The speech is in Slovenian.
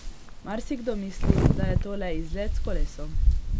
Marsikdo misli, da je to le izlet s kolesom.